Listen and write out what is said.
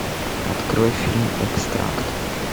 открой фильм экстракт